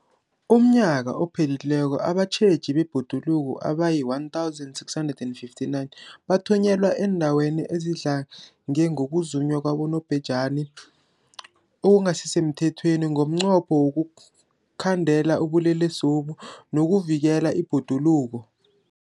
UmNnyaka ophelileko abatjheji bebhoduluko abayi-1 659 bathunyelwa eendaweni ezidlange ngokuzunywa kwabobhejani okungasi semthethweni ngomnqopho wokuyokukhandela ubulelesobu nokuvikela ibhoduluko.